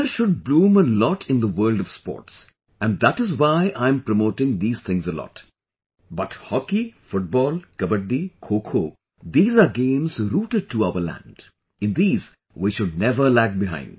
India should bloom a lot in the world of sports and that is why I am promoting these things a lot, but hockey, football, kabaddi, khokho, these are games rooted to our land, in these, we should never lag behind